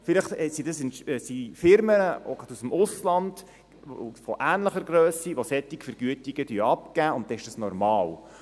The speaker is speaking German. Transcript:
Vielleicht sind es Firmen aus dem Ausland und von ähnlicher Grösse, die solche Vergütungen abgeben, und dann ist das normal.